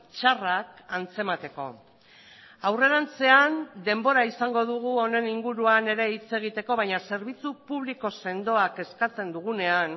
txarrak antzemateko aurrerantzean denbora izango dugu honen inguruan ere hitz egiteko baina zerbitzu publiko sendoak eskatzen dugunean